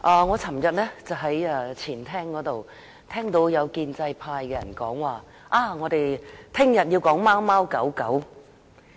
我昨天在前廳聽到有建制派議員說，我們明天要討論貓貓狗狗。